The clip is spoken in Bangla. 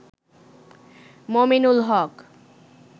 মমিনুল হক